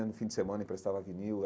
No fim de semana emprestava vinil.